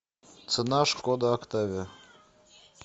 цена шкода октавия